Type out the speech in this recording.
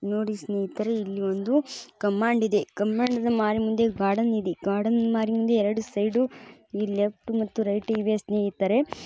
ನೋಡಿ ಸ್ನೇಹಿತರೇ ಇಲ್ಲೊಂದು ಕಮಾಂಡ್ ಇದೆ ಕಮಾಂಡ್ ಮಾರಿ ಮುಂದೆ ಗಾರ್ಡನ್ ಇದೆ. ಗಾರ್ಡನ್ ಮಾರಿ ಮುಂದೆ ಎರಡು ಸೈಡು ಈ ಲೆಫ್ಟ್ ಮತ್ತು ರೈಟ್ ಇವೆ ಸ್ನೇಹಿತರೆ.